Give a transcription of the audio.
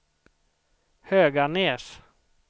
Höganäs